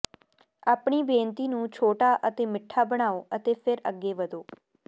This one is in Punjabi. ਆਪਣੀ ਬੇਨਤੀ ਨੂੰ ਛੋਟਾ ਅਤੇ ਮਿੱਠਾ ਬਣਾਉ ਅਤੇ ਫਿਰ ਅੱਗੇ ਵਧੋ